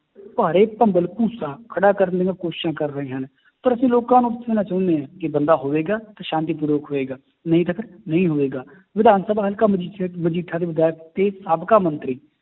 ਭਾੜੇ ਭੰਬਲ ਭੂਸਾ ਖੜਾ ਕਰਨ ਦੀਆਂ ਕੋਸ਼ਿਸ਼ਾਂ ਕਰ ਰਹੇ ਹਨ, ਪਰ ਅਸੀਂ ਲੋਕਾਂ ਨੂੰ ਪੁੱਛਣਾ ਚਾਹੁੰਦੇ ਹਾਂ ਕਿ ਬੰਦਾ ਹੋਵੇਗਾ ਤਾਂ ਸ਼ਾਂਤੀਪੂਰਵਕ ਹੋਵੇਗਾ ਨਹੀਂ ਤਾਂ ਫਿਰ ਨਹੀਂ ਹੋਵੇਗਾ, ਵਿਧਾਨਸਭਾ ਹਲਕਾ ਮਜੀਠਾ ਦੇ ਵਿਧਾਇਕ ਤੇ ਸਾਬਕਾ ਮੰਤਰੀ